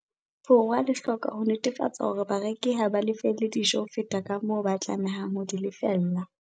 Borwa le hloka ho netefatsa hore bareki ha ba lefelle dijo ho feta kamoo ba tlamehang ho di lefella.